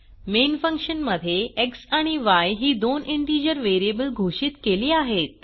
main function मध्ये x आणि य ही दोन इंटिजर व्हेरिएबल घोषित केली आहेत